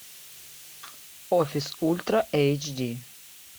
офис ультра эйч ди